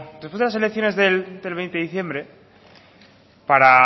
después de las elecciones del veinte de diciembre para